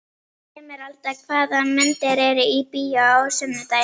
Emeralda, hvaða myndir eru í bíó á sunnudaginn?